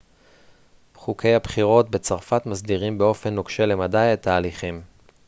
חוקי הבחירות בצרפת מסדירים באופן נוקשה למדי את ההליכים